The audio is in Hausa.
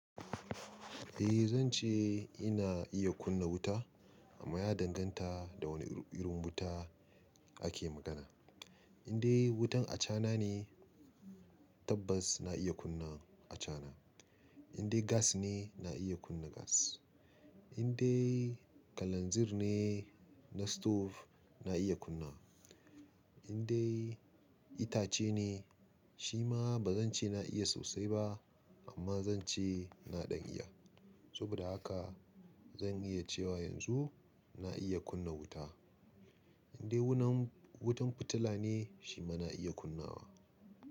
Eh zan ce ina iya kunna wuta amma ya danganta da wane irin wuta ake magana. Indai wutan acana ne tabbas na iya kunna acana. Indai gas ne na iya kunna gas. Indai kalanzir ne na stove na iya kunnawa. Indai itace ne shi ma ba zan ce na iya sosai ba amma zan ce na ɗan iya. Saboda haka zan iya cewa yanzu na iya kunna wuta. Indai wutan fitila ne shi ma na iya kunnawa.